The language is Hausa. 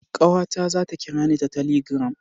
Kawata za ta kirani ta taligram